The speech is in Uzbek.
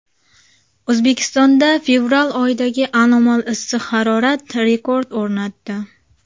O‘zbekistonda fevral oyidagi anomal issiq harorat rekord o‘rnatdi.